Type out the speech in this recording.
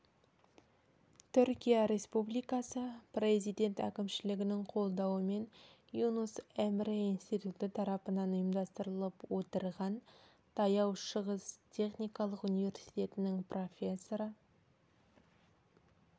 түркия республикасы президент әкімшілігінің қолдауымен юнус эмре институты тарапынан ұйымдастырылып отырған таяу шығыс техникалық университетінің профессоры